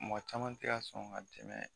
Mɔgɔ caman tɛ ka sɔn ka tɛmɛ